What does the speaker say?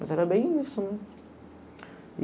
Mas era bem isso, né?